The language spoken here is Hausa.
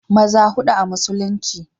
maza hudu a musulunci